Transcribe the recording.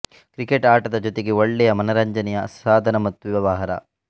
cricket ಆಟದ ಜೊತೆಗೆ ಒಳ್ಳೆಯ ಮನರಂಜನೆಯ ಸಾಧನ ಮತ್ತು ವ್ಯವಹಾರ